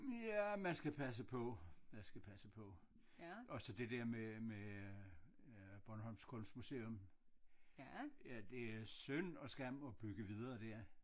Ja man skal passe på man skal passe på og så det der med med øh øh bornholmsk kunstmuseum ja det er synd og skam at bygge videre der